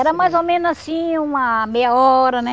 Era mais ou menos assim uma meia hora, né?